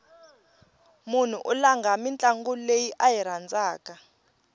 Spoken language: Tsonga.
mnhu u langha ntlangu lowu a wu rhandzaku